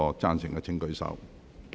贊成的請舉手。